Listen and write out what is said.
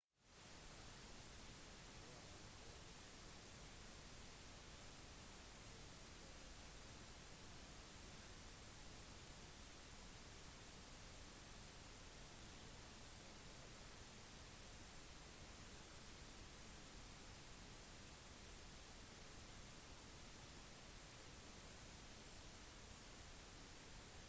i 1994 førte denne konflikten til opprettelsen av den selvutnevnte republikken transnistria i øst-moldova den har sin egen regjering og valuta men den har ikke blitt anerkjent av noen av fns medlemsland